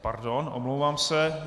Pardon, omlouvám se.